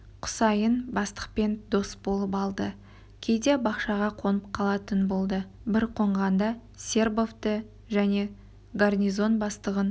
құсайын бастықпен дос болып алды кейде бақшаға қонып қалатын болды бір қонғанда сербовты және гарнизон бастығын